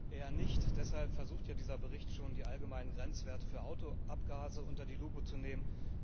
Eher nicht, deshalb versucht ja dieser Bericht schon, die allgemeinen Grenzwerte für Autoabgase unter die Lupe zu nehmen.